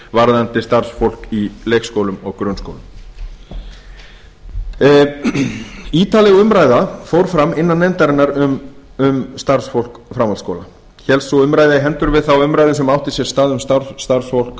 varðandi starfsfólk í leikskólum og grunnskólum ítarleg umræða fór fram innan nefndarinnar um starfsfólk framhaldsskóla hélst sú umræða í hendur við þá umræðu sem átti sér stað um starfsfólk